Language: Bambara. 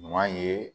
Ɲuman ye